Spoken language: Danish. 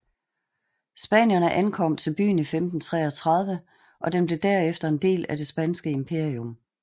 Spanierne ankom til byen i 1533 og den blev derefter en del af det spanske imperium